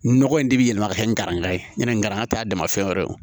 Nɔgɔ in de bɛ yɛlɛma ka kɛ ni gɛrɛngɛrɛ ye ɲanaŋɛ t'a dama fɛn wɛrɛ